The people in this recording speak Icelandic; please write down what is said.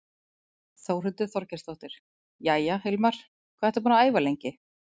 Þórhildur Þorkelsdóttir: Jæja, Hilmar, hvað ertu búinn að æfa lengi?